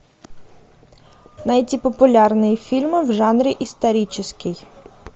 найти популярные фильмы в жанре исторический